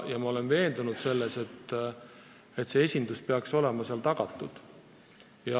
Ja ma olen veendunud, et see esindus peaks olema nõukogus tagatud.